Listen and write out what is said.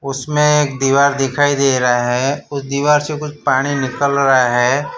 उसमें एक दीवार दिखाई दे रहा है उस दीवार से कुछ पानी निकल रहा है।